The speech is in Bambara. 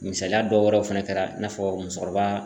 Misaliya dɔ wɛrɛw fɛnɛ kɛ la, i n'a fɔ musokɔrɔba